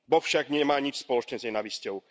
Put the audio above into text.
Boh však nemá nič spoločné s nenávisťou.